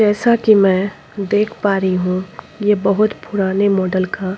जैसा कि मैं देख पा रही हूं ये बहुत पुराने मॉडल का--